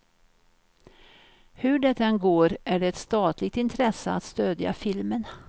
Hur det än går är det ett statligt intresse att stödja filmen.